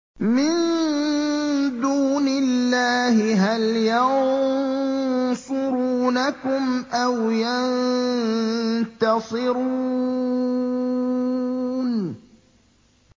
مِن دُونِ اللَّهِ هَلْ يَنصُرُونَكُمْ أَوْ يَنتَصِرُونَ